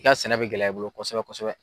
I ka sɛnɛ bɛ gɛlɛya i bolo kosɛbɛ kosɛbɛ.